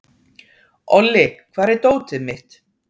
Olli, hvar er dótið mitt?